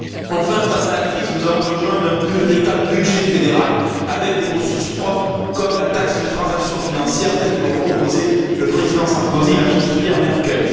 Enfin, face à la crise, nous avons besoin d'un véritable budget fédéral, avec des ressources propres, comme la taxe sur les transactions financières, telle que l'ont proposée le président Sarkozy et la chancelière Merkel.